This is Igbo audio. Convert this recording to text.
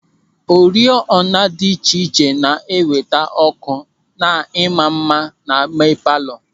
Oriọna dị iche iche na-eweta ọ́kụ́ na ịma mma n'ime palọ.